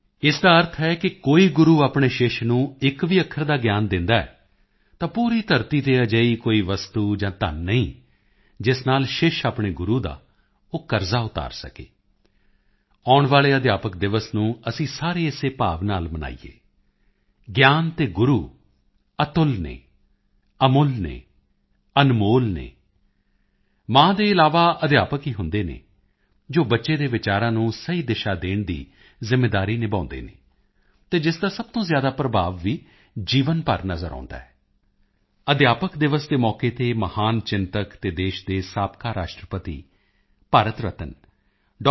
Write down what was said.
ਇਸਦਾ ਅਰਥ ਹੈ ਕਿ ਕੋਈ ਗੁਰੂ ਆਪਣੇ ਸ਼ਿਸ਼ ਚੇਲਾ ਨੂੰ ਇੱਕ ਵੀ ਅੱਖਰ ਦਾ ਗਿਆਨ ਦਿੰਦਾ ਹੈ ਤਾਂ ਪੂਰੀ ਧਰਤੀ ਤੇ ਅਜਿਹੀ ਕੋਈ ਵਸਤੂ ਜਾਂ ਧੰਨ ਨਹੀਂ ਜਿਸ ਨਾਲ ਸ਼ਿਸ਼ ਚੇਲਾ ਆਪਣੇ ਗੁਰੂ ਦਾ ਉਹ ਕਰਜਾ ਉਤਾਰ ਸਕੇ ਆਉਣ ਵਾਲੇ ਅਧਿਆਪਕ ਦਿਵਸ ਨੂੰ ਅਸੀਂ ਸਾਰੇ ਇਸੇ ਭਾਵ ਨਾਲ ਮਨਾਈੇਏ ਗਿਆਨ ਅਤੇ ਗੁਰੂ ਅਤੁੱਲ ਹਨ ਅਮੁੱਲ ਹਨ ਅਨਮੋਲ ਹਨ ਮਾਂ ਦੇ ਇਲਾਵਾ ਅਧਿਆਪਕ ਹੀ ਹੁੰਦੇ ਹਨ ਜੋ ਬੱਚੇ ਦੇ ਵਿਚਾਰਾਂ ਨੂੰ ਸਹੀ ਦਿਸ਼ਾ ਦੇਣ ਦੀ ਜਿੰਮੇਵਾਰੀ ਨਿਭਾਉਂਦੇ ਹਨ ਅਤੇ ਜਿਸ ਦਾ ਸਭ ਤੋਂ ਜ਼ਿਆਦਾ ਪ੍ਰਭਾਵ ਵੀ ਜੀਵਨ ਭਰ ਨਜ਼ਰ ਆਉਂਦਾ ਹੈ ਅਧਿਆਪਕ ਦਿਵਸ ਦੇ ਮੌਕੇ ਤੇ ਮਹਾਨ ਚਿੰਤਕ ਅਤੇ ਦੇਸ਼ ਦੇ ਸਾਬਕਾ ਰਾਸ਼ਟਰਪਤੀ ਭਾਰਤ ਰਤਨ ਡਾ